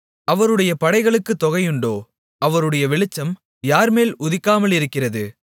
அவருடைய படைகளுக்குத் தொகையுண்டோ அவருடைய வெளிச்சம் யார்மேல் உதிக்காமலிருக்கிறது